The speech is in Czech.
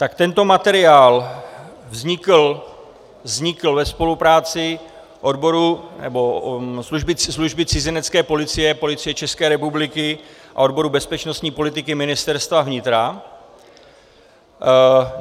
Tak tento materiál vznikl ve spolupráci Služby cizinecké policie Policie České republiky a odboru bezpečnostní politiky Ministerstva vnitra.